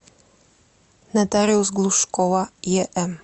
нотариус глушкова ем